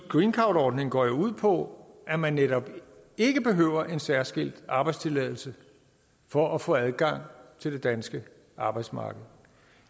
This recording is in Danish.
greencardordningen går ud på at man netop ikke behøver en særskilt arbejdstilladelse for at få adgang til det danske arbejdsmarked